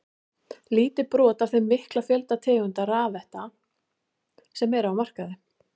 Lítið brot af þeim mikla fjölda tegunda rafretta sem eru á markaði.